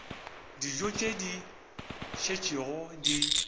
dijo tše di šetšego di